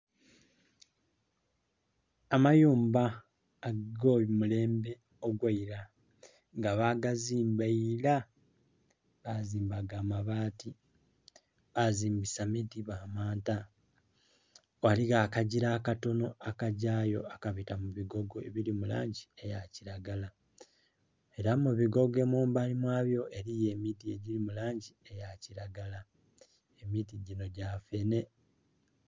Amayumba ago mulembe ogweila nga bagazimba illa bazimba ga mabati bazimbisa miti ba maanta. Ghaligho akagila akatonho aka gyayo akabita mu bigogo ebili mu langi eya kilagala era mu bigogo mumbali mwabyo eriyo emiti egili mu langi eya kilagala emiti ginho gya fenhe